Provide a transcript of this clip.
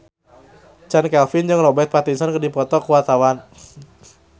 Chand Kelvin jeung Robert Pattinson keur dipoto ku wartawan